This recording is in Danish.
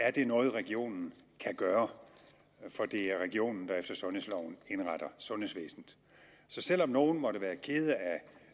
er det noget regionen kan gøre for det er regionen der efter sundhedsloven indretter sundhedsvæsenet så selv om nogle måtte være kede af